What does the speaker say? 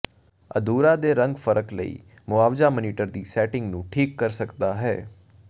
ਅਧੂਰਾ ਦੇ ਰੰਗ ਫਰਕ ਲਈ ਮੁਆਵਜ਼ਾ ਮਾਨੀਟਰ ਦੀ ਸੈਟਿੰਗ ਨੂੰ ਠੀਕ ਕਰ ਸਕਦਾ ਹੈ